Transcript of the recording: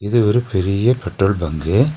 இது ஒரு பெரீய பெட்ரோல் பங்கு .